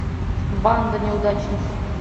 банда неудачников